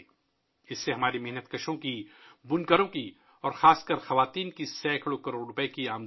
اس کے ذریعے ہمارے مزدوروں، بنکروں اور خاص کر خواتین نے بھی کروڑوں روپے کمائے ہیں